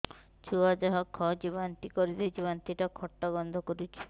ଛୁଆ ଯାହା ଖାଉଛି ବାନ୍ତି କରିଦଉଛି ବାନ୍ତି ଟା ଖଟା ଗନ୍ଧ କରୁଛି